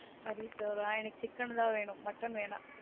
கறி சோறா எனக்கு chicken தான் mutton வேணா